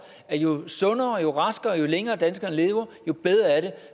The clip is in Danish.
at jo sundere jo raskere jo længere danskerne lever jo bedre er det